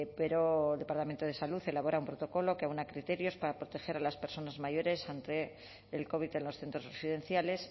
pero el departamento de salud elabora un protocolo que aúna criterios para proteger a las personas mayores ante el covid en los centros residenciales